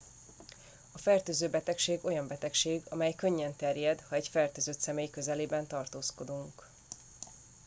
a fertőző betegség olyan betegség amely könnyen terjed ha egy fertőzött személy közelében tartózkodunk